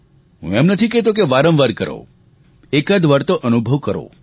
હું એમ નથી કહેતો કે વારંવાર કરો એકાદવાર તો અનુભવ કરો